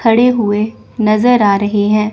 खड़े हुए नजर आ रहे हैं।